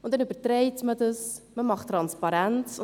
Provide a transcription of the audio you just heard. Diese überträgt man und hat Transparenz.